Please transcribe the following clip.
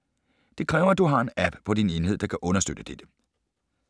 Det kræver, at du har en app på din enhed, der kan understøtte dette.